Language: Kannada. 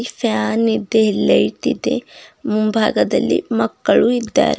ಫ್ಯಾನ್ ಇದೆ ಲೈಟ್ ಇದೆ ಮುಂಭಾಗದಲ್ಲಿ ಮಕ್ಕಳು ಇದ್ದಾರೆ.